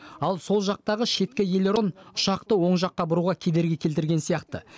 ал сол жақтағы шеткі элерон ұшақты оң жаққа бұруға кедергі келтірген сияқты